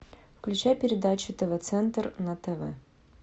включай передачу тв центр на тв